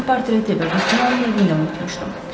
Mən portreti və qutunu onun evində unutmuşdum.